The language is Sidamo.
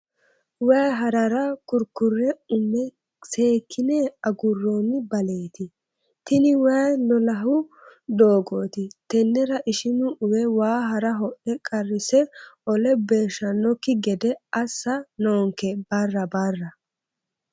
Waayi harara kurikure ume seekkine aguroni baleti tini waayi lolahu doogoti tenera ishinu uwe waa hara ho'le qarrise olla boshanokki gede assa noonke barra barra.